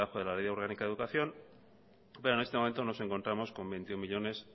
debajo de la ley orgánica de educación pero en esto momento nos encontramos con veintiuno millónes